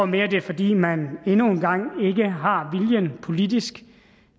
mere er fordi man endnu engang ikke har viljen politisk